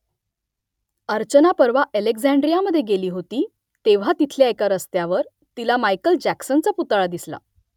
अर्चना परवा अलेक्झांड्रियामध्ये गेली होती तेव्हा तिथल्या एका रस्त्यावर तिला मायकेल जॅक्सनचा पुतळा दिसला